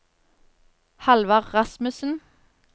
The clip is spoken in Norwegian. Hallvard Rasmussen